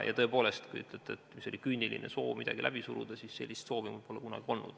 Tõepoolest, kui te ütlete, et see oli küüniline soov midagi läbi suruda, siis sellist soovi mul pole kunagi olnud.